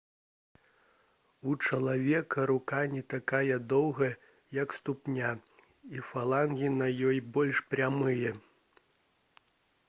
у чалавека рука не такая доўгая як ступня і фалангі на ёй больш прамыя